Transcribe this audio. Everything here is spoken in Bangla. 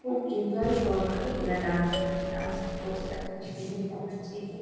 খুব এনজয় সহকারে এরা ডান্স করছে ডান্সটি করছে দেখো কি সুন্দর দেখাচ্ছে এই যে।